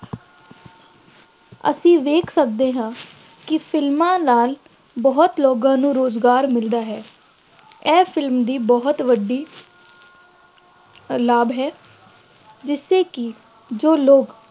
ਅਸੀਂ ਵੇਖ ਸਕਦੇ ਹਾਂ ਕਿ ਫਿਲਮਾਂ ਨਾਲ ਬਹੁਤ ਲੋਕਾਂ ਨੂੰ ਰੁਜ਼ਗਾਰ ਮਿਲਦਾ ਹੈ, ਇਹ ਫਿਲਮ ਦੀ ਬਹੁਤ ਵੱਡੀ ਲਾਭ ਹੈ, ਜਿਸਦੇ ਕਿ ਜੋ ਲੋਕ